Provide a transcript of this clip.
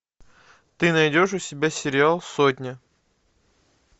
ты найдешь у себя сериал сотня